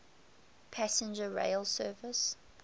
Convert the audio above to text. passenger rail service